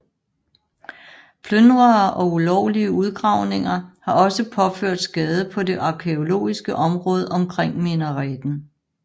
Plyndrere og ulovlige udgravninger har også påført skade på det arkæologiske område omkring minareten